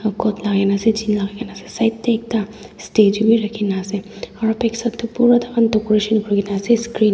coat lagai kina ase jean logai kina ase side te ekta statue bhi rakhi kina ase aru back side tu pura decoration kori kina ase screen .